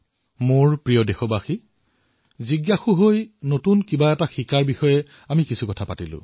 মোৰ মৰমৰ দেশবাসীসকল আমি জিজ্ঞাসাৰ পৰা কিবা নতুন শিকাৰ আৰু কৰাৰ কথা কৈ আছিলো